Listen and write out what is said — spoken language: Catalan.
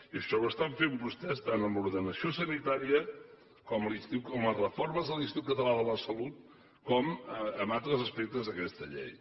i això ho estan fent vostès tant amb l’ordenació sanitària com amb les reformes de l’institut català de la salut com amb altres aspectes d’aquesta llei